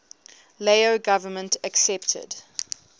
lao government accepted